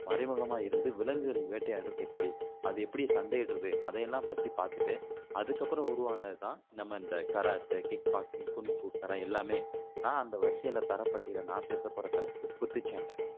மறைமுகமா இருந்து விலங்குகள் வேட்டையாடுறது எப்படி அது எப்படி சண்டையிடுறது அதை எல்லாம் பத்தி பாத்துட்டு அதுக்கு அப்பறம் உருவானது தான் நம்ம இந்த கராத்தே, கிக் பாக்ஸிங், குங்க்ஃபூ எல்லாமே நான் அந்த தரவரிசையில நான் பேச போற தலைப்பு குத்துச்சண்டை